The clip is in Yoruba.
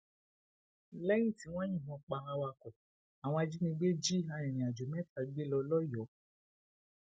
lẹyìn tí wọn yìnbọn pa awakọ àwọn ajìnígbé jí arìnrìnàjò mẹta gbé lọ lọyọọ